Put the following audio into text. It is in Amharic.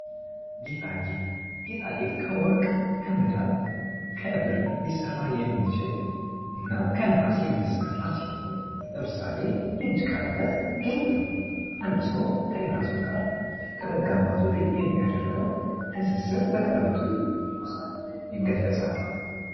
ጌጣ ጌጥ ጌጣ ጌጥ ከወርቅ ከመዳብ ከብር ሊሰራ የሚችል እና ከነሐስ የሚሰራ ሲሆን ለምሳሌ የእጅ ቀለበት ጌጥ ነው። አንድ ሰው ከሌላ ሰው ጋር ከመጋባቱ በፊት የሚያደርገው ትስስር በቀለበቱ ይገለፃል።